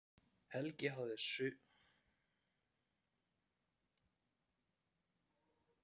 Helgi hafði um sumarið sótt um skólavist fyrir hana í Konunglegu dönsku akademíunni.